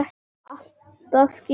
Allt að skýrast